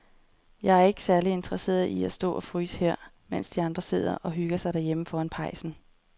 Jeg er ikke særlig interesseret i at stå og fryse her, mens de andre sidder og hygger sig derhjemme foran pejsen.